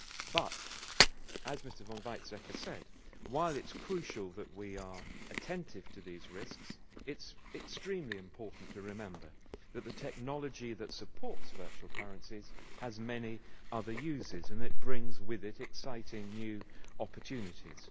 But, as Mr von Weizsäcker said, while it is crucial that we are attentive to these risks, it is extremely important to remember that the technology that supports virtual currencies has many other uses, and brings with it exciting new opportunities.